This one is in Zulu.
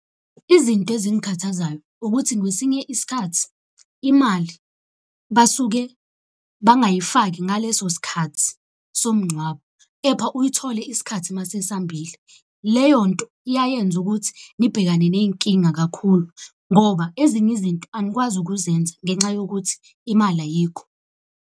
Izinto ezingikhathazayo ukuthi ngwesinye isikhathi imali basuke bangayifaki ngaleso sikhathi somngcwabo. Kepha uyithole isikhathi mase sambile. Leyo nto iyayenza ukuthi nibhekane ney'nkinga kakhulu, ngoba ezinye izinto anikwazi ukuzenza ngenxa yokuthi imali ayikho.